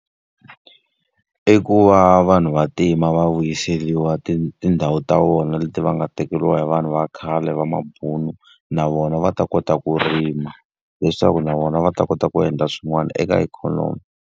I ku va vanhu vantima va vuyiseriwa tindhawu ta vona leti va nga tekeriwa hi vanhu va khale va mabunu, na vona va ta kota ku rima. Leswaku na vona va ta kota ku endla swin'wana eka ikhonomi.